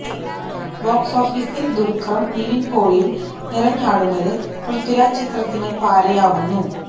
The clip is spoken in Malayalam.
ബോക്സ് ഓഫീസില് ദുല്ഖറും നിവീന് പോളിയും നിറഞ്ഞാടുന്നത് പൃഥ്വിരാജ് ചിത്രത്തിന് പാരയാവുന്നു